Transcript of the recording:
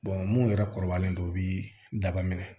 mun yɛrɛ kɔrɔbayalen don u bi daba minɛ